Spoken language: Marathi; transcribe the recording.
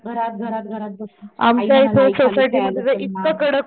घरात घरात घरात बसून आई